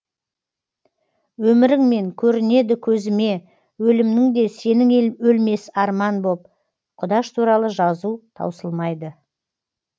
өміріңмен көрінеді көзіме өлімнің де сенің өлмес арман боп құдаш туралы жазу таусылмайды